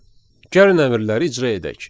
Gəlin əmrləri icra edək.